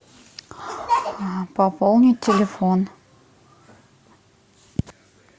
пополнить телефон